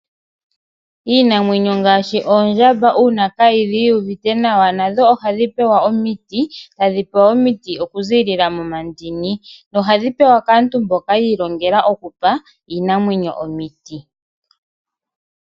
Iinamwenyo ngaashi oondjamba uuna kayuuvite nawa ohadhi pewa omiti okuzilila momandini nohadhipewa kaantu mbono yiilongele okupa iinimwenyo omiti.